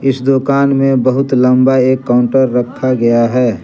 इस दुकान में बहुत लंबा एक काउंटर रखा गया है।